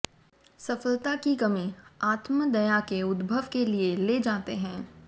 सफलता की कमी आत्म दया के उद्भव के लिए ले जाते हैं